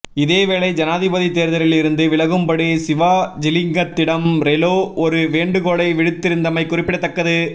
இதேவேலை ஜனாதிபதி தேர்தலில்இருந்து விலகும்படி சிவாஜிலிங்கத்திடம் ரெலோ ஒரு வேண்டுகோளை விடுத்திருந்தமை குறிப்பிடத்தக்கது